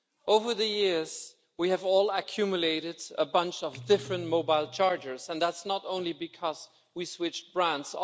Over the years, we have all accumulated a bunch of different mobile chargers, and that's not only because we switched brands.